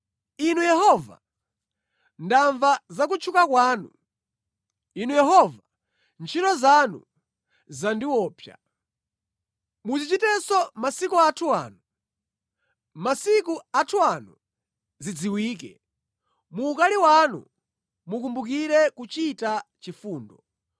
Inu Yehova, ndamva za kutchuka kwanu; Inu Yehova, ntchito zanu zandiopsa. Muzichitenso masiku athu ano, masiku athu ano zidziwike; mu ukali wanu mukumbukire kuchita chifundo.